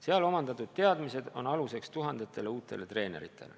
Seal omandatud teadmistele saavad tugineda tuhanded uued treenerid.